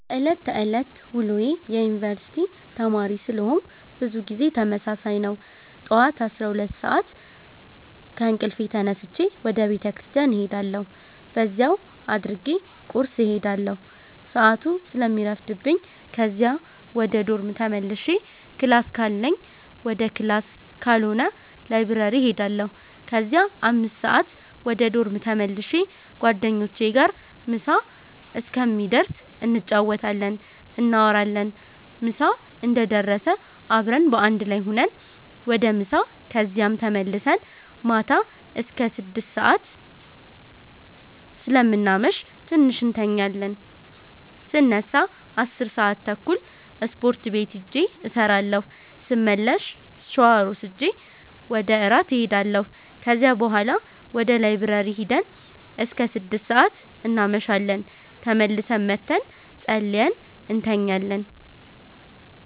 የዕለት ተዕለት ውሎዬ የዩነኒቨርስቲ ተማሪ ስለሆነኩ ብዙ ጊዜ ተመሳሳይ ነው። ጠዋት 12:00 ሰአት ከእንቅልፌ ተነስቼ ወደ ቤተክርስቲያን እሄዳለሁ በዚያው አድርጌ ቁርስ እሄዳለሁ ሰአቱ ስለሚረፍድብኝ ከዚያ ወደ ዶርም ተመልሼ ክላስ ካለኝ ወደ ክላስ ካልሆነ ላይብረሪ እሄዳለሁ ከዚያ 5:00 ወደ ዶርም ተመልሼ ጓደኞቼ ጋር ምሳ እስከሚደርስ እንጫወታለን፣ እናወራለን ምሳ እንደደረሰ አብረን በአንድ ላይ ሁነን ወደ ምሳ ከዚያም ተመልሰን ማታ አስከ 6:00 ሰአት ስለምናመሽ ትንሽ እንተኛለን ስነሳ 10:30 ስፖርት ቤት ሂጄ እሰራለሁ ስመለስ ሻወር ወስጄ ወደ እራት እሄዳለሁ ከዚያ ቡሀላ ወደ ላይብረሪ ሂደን እስከ 6:00 እናመሻለን ተመልሰን መተን ፀልየን እንተኛለን።